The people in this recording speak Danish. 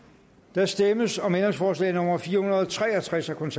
der stemmes om ændringsforslag nummer fire hundrede og tre og tres af kf